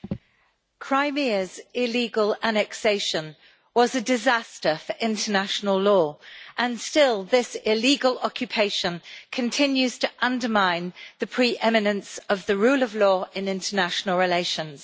Mr President, Crimea's illegal annexation was a disaster for international law, and still this illegal occupation continues to undermine the pre eminence of the rule of law and international relations.